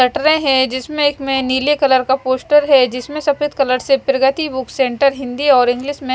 कटरे जिसमे एक में नील कलर का पोस्टर है जिसमे सफेद कलर से प्रगति बुक सेंटर हिंदी और इंग्लिश में --